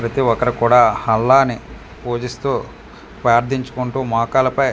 ప్రతి ఒక్కరు కూడా అల్లా అని పూజిస్తూ ప్రదించుకుంటు మోకాళ్ళ పై .